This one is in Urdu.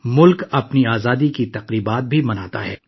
ملک نے اپنا یوم جمہوریہ بھی مناتا ہے